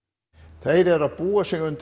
þeir eru að búa sig undir